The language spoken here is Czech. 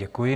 Děkuji.